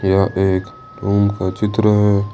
यह एक रूम का चित्र है ।